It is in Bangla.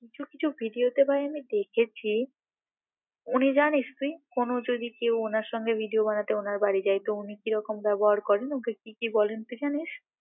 কিছু কিছু ভিডিও তে ভাই আমি দেখেছি উনি জানিস তুই কোন যদি কেউ উনার সঙ্গে ভিডিও বানাতে উনার বাড়ি যাইতো উনি কি রকম ব্যবহার করেন মুখে কি কি বলেন তুই জানিস